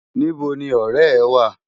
Nibò ni òrè è wá?